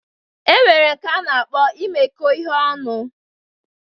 E nwere nke a na-akpọ imekọ ihe ọnụ